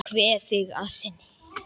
Ég kveð þig að sinni.